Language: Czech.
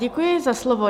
Děkuji za slovo.